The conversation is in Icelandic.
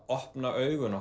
opna augu